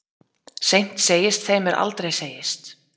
Seint segist þeim er aldrei segist.